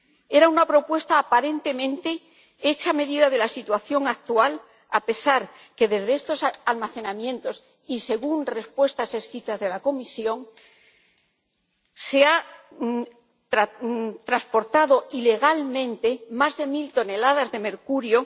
Era una propuesta aparentemente hecha a medida de la situación actual, a pesar de que desde estos almacenamientos ―y según respuestas escritas de la Comisión― se han transportado ilegalmente más de mil toneladas de mercurio